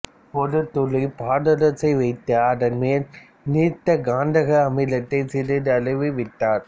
ஒரு துளி பாதரசத்தை வைத்து அதன் மேல் நீர்த்த கந்தக அமிலத்தை சிறிதளவு விட்டார்